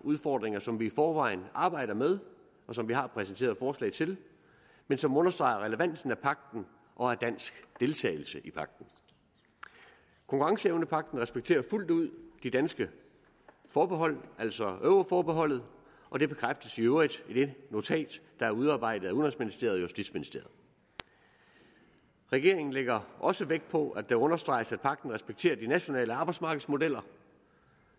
udfordringer som vi i forvejen arbejder med og som vi har præsenteret forslag til men som understreger relevansen af pagten og af dansk deltagelse i pagten konkurrenceevnepagten respekterer fuldt ud det danske forbehold altså euroforbeholdet og det bekræftes i øvrigt i det notat der er udarbejdet af udenrigsministeriet og justitsministeriet regeringen lægger også vægt på at der understreges at pagten respekterer de nationale arbejdsmarkedsmodeller